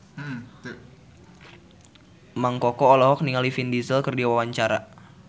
Mang Koko olohok ningali Vin Diesel keur diwawancara